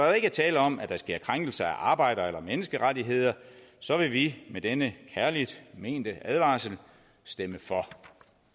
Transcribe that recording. jo ikke er tale om at der sker krænkelser af arbejder eller menneskerettigheder så vil vi med denne kærligt mente advarsel stemme for